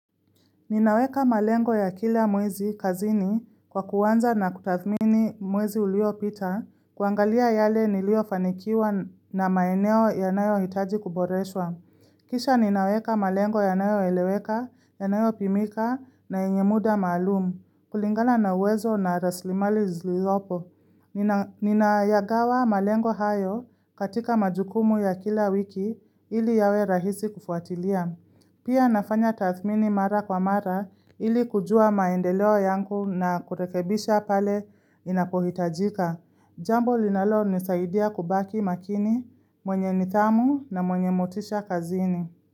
Ninaweka malengo ya kila mwezi kazini kwa kuanza na kutathmini mwezi uliopita kuangalia yale niliofanikiwa na maeneo yanayohitaji kuboreshwa. Kisha ninaweka malengo yanayoeleweka, yanayopimika na yenye muda maalum kulingana na uwezo na raslimali ziliyopo. Ninayagawa malengo hayo katika majukumu ya kila wiki ili yawe rahisi kufuatilia. Pia nafanya tathmini mara kwa mara ili kujua maendeleo yangu na kurekebisha pale inapohitajika. Jambo linalonisaidia kubaki makini mwenye nidhamu na mwenye motisha kazini.